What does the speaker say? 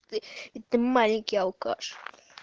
это маленький алкаш